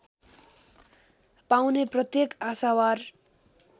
पाउने प्रत्येक आशावार